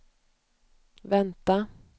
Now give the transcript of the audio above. vänta